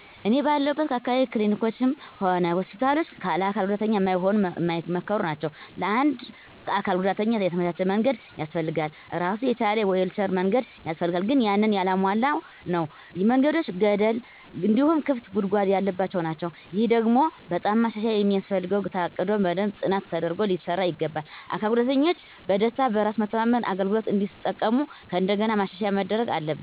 እኔ ባለሁለት አካባቢ ክሊኒኮችም ሆነ ሆስፒታሎች ለአካል ጉዳተኛ ማይሆኑ ማይመከሩ ናቸው። ለአንድ አካል ጉዳተኛ የተመቻቸ መንገድ ያስፈልገዋል እራሱን የቻለ የዊልቸር መንገድ ያስፈልጋል ግን ያንን ያላሟላ ነው። መንገዶቹ ገደል እንዲሁም ክፍት ጉድጓድ ያለባቸው ናቸው። ይሄ ደግሞ በጣም ማሻሻያ የሚያስፈልገው ታቅዶ በደንብ ጥናት ተደርጎ ሊሰራ ይገባዋል። አካል ጉዳተኞች በደስታ፣ በራስ መተማመን አገልግሎቱን እንዲጠቀሙ ከእንደገና ማሻሻያ መደረግ አለበት።